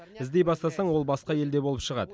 іздей бастасаң ол басқа елде болып шығады